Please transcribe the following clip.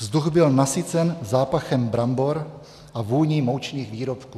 Vzduch byl nasycen zápachem brambor a vůní moučných výrobků.